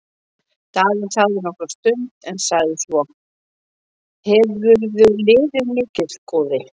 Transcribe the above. Daði þagði nokkra stund en sagði svo:-Hefurðu liðið mikið, góði?